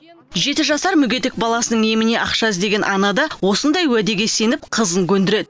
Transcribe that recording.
жеті жасар мүгедек баласының еміне ақша іздеген ана да осындай уәдеге сеніп қызын көндіреді